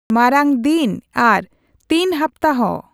ᱢᱟᱨᱟᱝ ᱫᱤᱱ ᱟᱨ ᱛᱤᱱ ᱦᱟᱯᱛᱟ ᱦᱚ